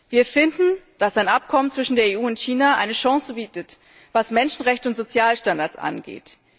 Wir finden, dass ein Abkommen zwischen der EU und China eine Chance bietet, was Menschenrechte und Sozialstandards angeht.